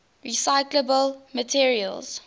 recyclable materials